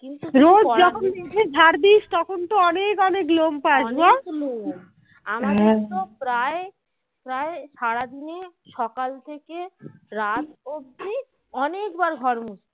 প্রায় সারাদিনে সকাল থেকে রাত অব্দি অনেক ববার ঘর মুচি